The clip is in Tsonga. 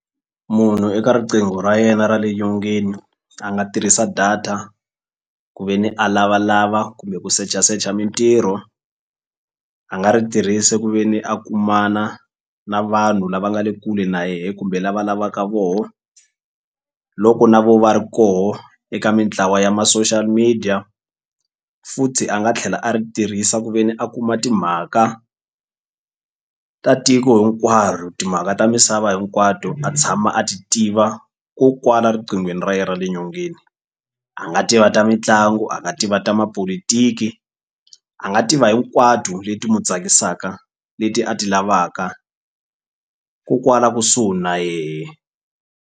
Munhu eka riqingho ra yena ra le nyongeni a nga tirhisa data ku ve ni a lavalava kumbe ku search-a search-a mintirho a nga ri tirhisa ku ve ni a kumana na vanhu lava nga le kule na yehe kumbe lava lavaka voho loko na vo va ri koho eka mintlawa ya ma-social media futhi a nga tlhela a ri tirhisa ku ve ni a kuma timhaka ta tiko hinkwaro timhaka ta misava hinkwato a tshama a ti tiva ko kwala riqinghweni ra ye ra le nyongeni a nga tiva ta mitlangu a nga tiva ta mapolotiki a nga tiva hinkwato leti mu tsakisaka leti a ti lavaka ko kwala kusuhi na yehe.